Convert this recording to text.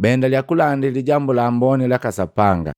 baendalia kulandi Lijambu la Amboni laka Sapanga.